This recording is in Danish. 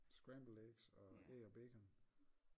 Scrambled eggs og æg og bacon